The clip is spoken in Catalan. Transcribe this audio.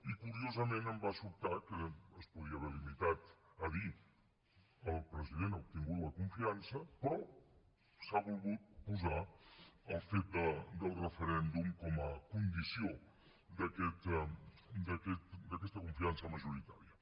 i curiosament em va sobtar que es podia haver limitat a dir el president ha obtingut la confiança però s’ha volgut posar el fet del referèndum com a condició d’aquesta confiança majoritària